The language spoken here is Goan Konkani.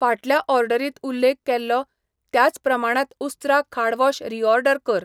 फाटल्या ऑर्डरींत उल्लेख केल्लो त्याच प्रमाणात उस्त्रा खाड वॉश रीऑर्डर कर.